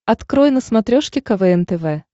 открой на смотрешке квн тв